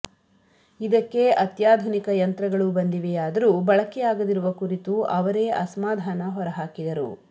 ಇದಕ್ಕೆ ಅತ್ಯಾಧುನಿಕ ಯಂತ್ರಗಳು ಬಂದಿವೆಯಾದರೂ ಬಳಕೆಯಾಗದಿರುವ ಕುರಿತು ಅವರೇ ಅಸಮಾಧಾನ ಹೊರಹಾಕಿದರು